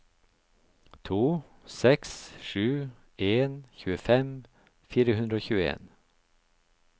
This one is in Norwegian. to seks sju en tjuefem fire hundre og tjueen